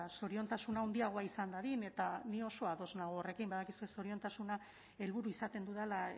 zoriontasuna handiagoa izan dadin eta ni oso ados nago horrekin badakizue zoriontasuna helburu izaten dudala